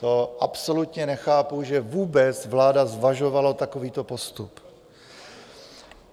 To absolutně nechápu, že vláda vůbec zvažovala takovýto postup.